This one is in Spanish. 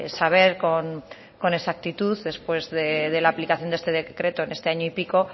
saber con exactitud después de la aplicación de este decreto en este año y pico